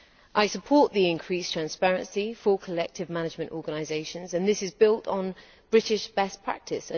I support the increased transparency for collective management organisations and this is built on British best practice